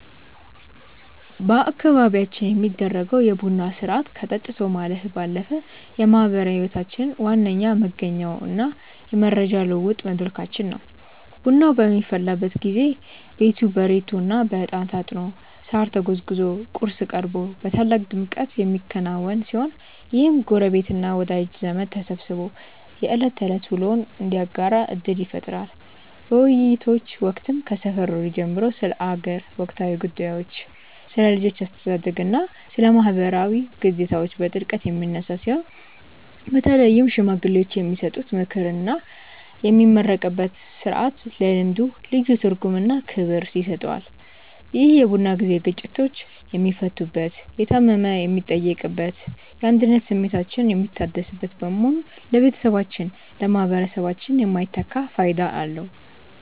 በአካባቢያችን የሚደረገው የቡና ሥርዓት ከጠጥቶ ማለፍ ባለፈ የማኅበራዊ ሕይወታችን ዋነኛ መገኛውና የመረጃ ልውውጥ መድረካችን ነው። ቡናው በሚፈላበት ጊዜ ቤቱ በሬቶና በዕጣን ታጥኖ፣ ሳር ተጎዝጉዞና ቁርስ ቀርቦ በታላቅ ድምቀት የሚከናወን ሲሆን፣ ይህም ጎረቤትና ወዳጅ ዘመድ ተሰባስቦ የዕለት ተዕለት ውሎውን እንዲያጋራ ዕድል ይፈጥራል። በውይይቶች ወቅትም ከሰፈር ወሬ ጀምሮ ስለ አገር ወቅታዊ ጉዳዮች፣ ስለ ልጆች አስተዳደግና ስለ ማኅበራዊ ግዴታዎች በጥልቀት የሚነሳ ሲሆን፣ በተለይም ሽማግሌዎች የሚሰጡት ምክርና የሚመረቅበት ሥርዓት ለልምዱ ልዩ ትርጉምና ክብር ይሰጠዋል። ይህ የቡና ጊዜ ግጭቶች የሚፈቱበት፣ የታመመ የሚጠየቅበትና የአንድነት ስሜታችን የሚታደስበት በመሆኑ ለቤተሰባችንና ለማኅበረሰባችን የማይተካ ፋይዳ አለው።